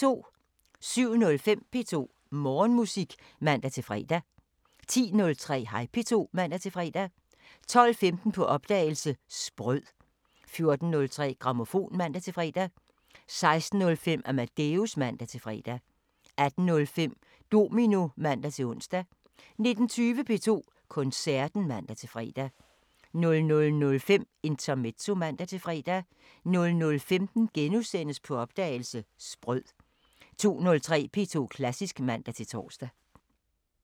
07:05: P2 Morgenmusik (man-fre) 10:03: Hej P2 (man-fre) 12:15: På opdagelse – Sprød 14:03: Grammofon (man-fre) 16:05: Amadeus (man-fre) 18:05: Domino (man-ons) 19:20: P2 Koncerten (man-fre) 00:05: Intermezzo (man-fre) 00:15: På opdagelse – Sprød * 02:03: P2 Klassisk (man-tor)